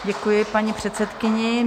Děkuji paní předsedkyni.